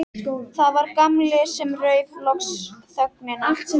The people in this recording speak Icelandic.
Það var Gamli sem rauf loks þögnina.